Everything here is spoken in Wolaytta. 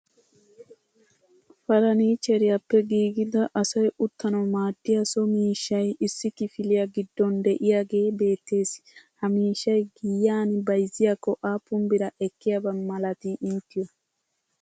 farannicheriyappe giiggida asay uttanaw maaddiya so miishshay issi kifiliya giddon de'iyagee beettees. ha miishshay giyan bayzziyakko aappun bira ekkiyaaba malatii inttiyo?